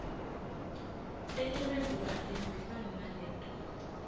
tetimphendvulo atihambisane naleto